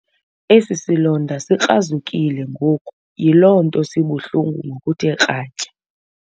Esi silonda sikralile ngoku yiloo nto sibuhlungu ngokuthe kratya.